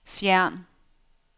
fjern